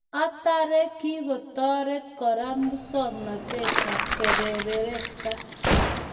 Atare, kikotorit kora masongnatet ab kabeberesta